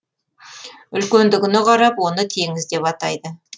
үлкендігіне қарап оны теңіз деп атайды